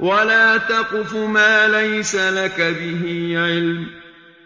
وَلَا تَقْفُ مَا لَيْسَ لَكَ بِهِ عِلْمٌ ۚ